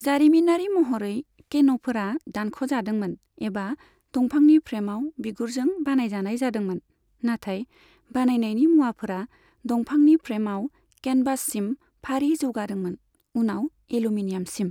जारिमिनारि महरै, केन'फोरा दानख'जादोंमोन एबा दंफांनि फ्रेमाव बिगुरजों बानायजानाय जादोंमोन, नाथाय बानायनायनि मुवाफोरा दंफांनि फ्रेमाव केनभाससिम फारि जौगादोंमोन, उनाव एलुमिनियामसिम।